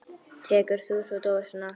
Tekur þú svo dósina aftur?